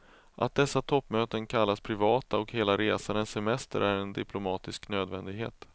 Att dessa toppmöten kallas privata och hela resan en semester är en diplomatisk nödvändighet.